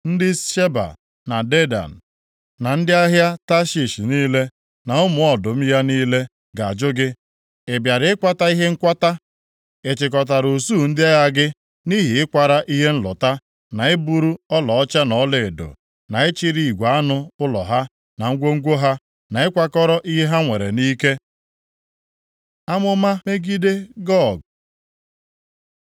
Ndị Sheba na Dedan, na ndị ahịa Tashish niile, na ụmụ ọdụm ya niile ga-ajụ gị, “Ị bịara ịkwata ihe nkwata? Ị chịkọtara usuu ndị agha gị nʼihi ịkwara ihe nlụta, na iburu ọlaọcha na ọlaedo, na ịchịrị igwe anụ ụlọ ha, na ngwongwo ha, na ịkwakọrọ ihe ha nwere nʼike?” ’ Amụma megide Gog